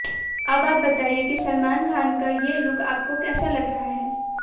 अब आप बताईये कि सलमान खान का ये लुक आपको कैसा लग रहा है